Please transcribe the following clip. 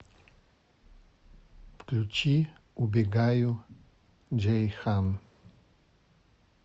включи убегаю джейхан